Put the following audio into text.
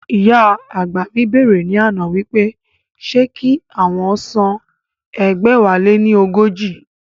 Ìyá àgbà mi bẹ̀rẹ̀ ní àná wípé ṣé kí àwọn san ẹgbẹ̀wáléní ọgọ́jọ?